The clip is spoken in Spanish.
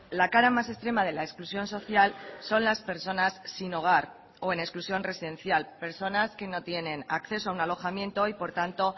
la cara más extrema de la exclusión social son las personas sin hogar o en exclusión residencial personas que no tienen acceso a un alojamiento y por tanto